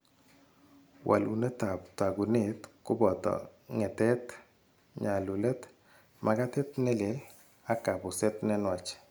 Walunetap taakunet koboto ngetet, nyalulet, makatet ne lel, ak kapuset ne nwach